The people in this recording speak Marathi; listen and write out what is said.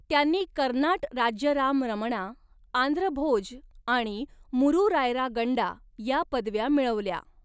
त्यांनी 'कर्नाट राज्य राम रमणा', 'आंध्र भोज' आणि 'मूरू रायरा गंडा' या पदव्या मिळवल्या.